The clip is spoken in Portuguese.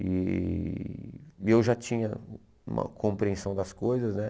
E e eu já tinha uma compreensão das coisas, né?